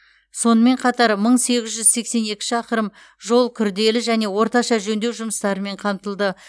сонымен қатар мың сегіз жүз сексен екі шақырым жол күрделі және орташа жөндеу жұмыстарымен қамтылды